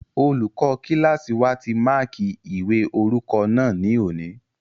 Olùkọ́ kílásì wa ti máàkí ìwé orúkọ náà ní òní